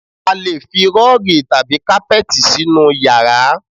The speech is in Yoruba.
A lè fi rọ́ọ̀gì tàbí kápẹ́tì sínú yàrá